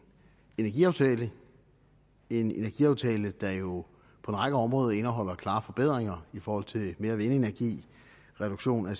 energiaftale en energiaftale der jo på en række områder indeholder klare forbedringer i forhold til mere vindenergi reduktion af